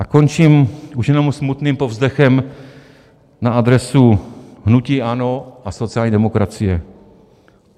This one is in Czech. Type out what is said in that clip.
A končím už jenom smutným povzdechem na adresu hnutí ANO a sociální demokracie.